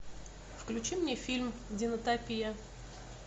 включи мне фильм динотопия